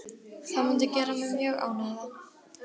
Það mundi gera mig mjög ánægða.